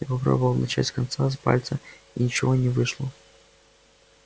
я попробовал начать с конца с пальца и ничего не вышло